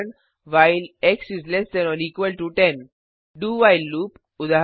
उदाहरण while dowhile loop